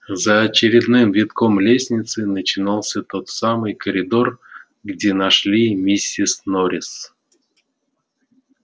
за очередным витком лестницы начинался тот самый коридор где нашли миссис норрис